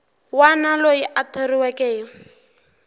wana loyi a thoriweke hi